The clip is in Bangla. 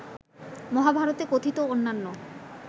মহাভারতে কথিত অন্যান্য